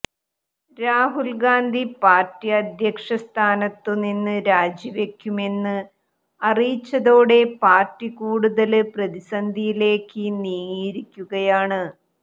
Rahul Gandhi party അധ്യക്ഷ സ്ഥാനത്തു നിന്ന് രാജിവെക്കുമെന്ന് അറിയിച്ചതോടെ പാര്ട്ടി കൂടുതല് പ്രതിസന്ധിയിലേക്ക് നീങ്ങിയിരിക്കുകയാണ്